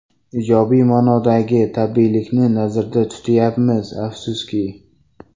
Ijobiy ma’nodagi tabiiylikni nazarda tutmayapmiz, afsuski.